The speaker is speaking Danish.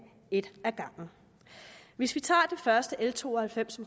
et ad gangen hvis vi tager det første l to og halvfems